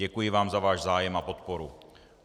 Děkuji vám za váš zájem a podporu.